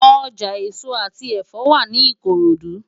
Ojá esó ati ẹfọ wá ni Ikorodu